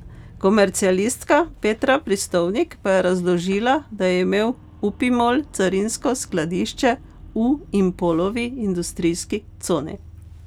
Komercialistka Petra Pristovnik pa je razložila, da je imel Upimol carinsko skladišče v Impolovi industrijski coni.